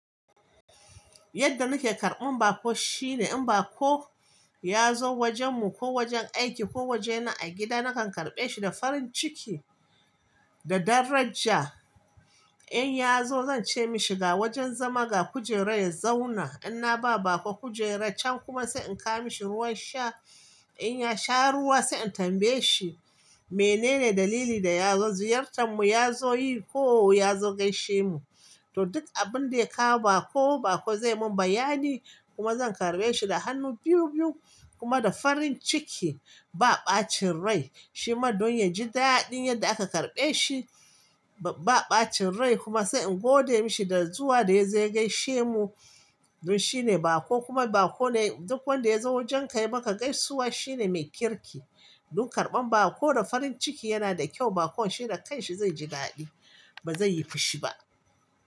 Yadda nake karɓan baƙo shine, in baƙo ya zo wajenmu, ko wajen aiki ko wajena a gida, nakan karɓe shi da farin ciki da daraja. In ya zo, zan ce mashi ga wajen zama, ga kujera, ya zauna. In na ba baƙo kujera can, kuma sai in kawo mashi ruwan sha. In ya sha ruwa, sai in tambaye shi menene dalili da ya zo ziyartar mu. Ya zo yi ko ya zo gaishe mu, to duk abin da ya kawo baƙo, baƙo za mun bayani. Kuma zan karɓe shi da hannu biyu-biyu kuma da farin ciki. Ba ɓacin rai. Shima don yaji daɗin yadda aka karɓe shi. Ba ɓacin rai kuma sai in gode mashi da zuwa da yazo ya gaishe mu. Don, shine baƙo kuma baƙo duk wanda ya zo wajenka ya maka gaisuwa shine mai kirki. Dun, karɓan baƙo da farin ciki yana da kyau. Baƙo shi da kai shi zai ji daɗi ba zai yi fushi ba.